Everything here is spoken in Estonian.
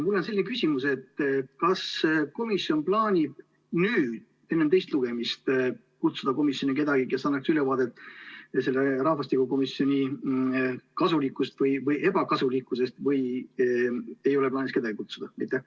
Mul on selline küsimus: kas komisjon plaanib nüüd enne teist lugemist kutsuda komisjoni kedagi, kes annaks ülevaate rahvastikukomisjoni kasulikkusest või ebakasulikkusest, või ei ole plaanis kedagi kutsuda?